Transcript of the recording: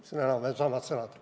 Need on enam-vähem õiged sõnad.